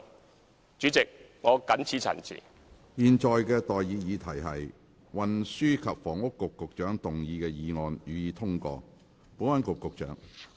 我現在向各位提出的待議議題是：運輸及房屋局局長動議的議案，予以通過。